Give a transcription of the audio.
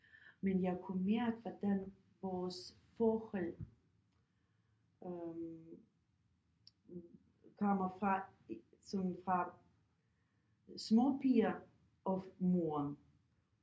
Men jeg kunne mærke hvordan vores forhold øh kommer fra sådan fra småpiger og moren